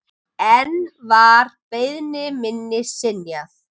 Enn var beiðni minni synjað.